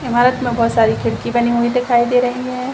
इमारत में बहुत सारी खिड़की बनी हुई दिखाई दे रही है।